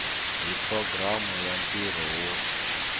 hi programu ya ntirho wo